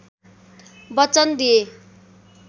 वचन दिए